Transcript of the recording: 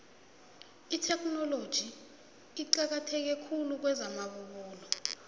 itheknoloji iqakatheke khulu kwezamabubulo